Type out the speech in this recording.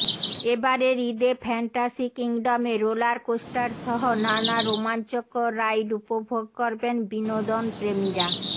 এবারের ঈদে ফ্যান্টাসি কিংডমে রোলার কোস্টারসহ নানা রোমাঞ্চকর রাইড উপভোগ করবেন বিনোদনপ্রেমীরা